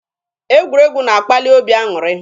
Egwuregwu na-akpali obi aṅụrị.